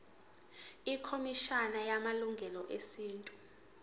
ikhomishana yamalungelo esintu